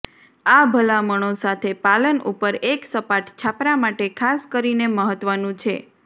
આ ભલામણો સાથે પાલન ઉપર એક સપાટ છાપરા માટે ખાસ કરીને મહત્વનું છે